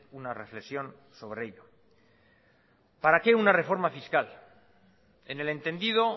una reflexión sobre ello para qué una reforma fiscal en el entendido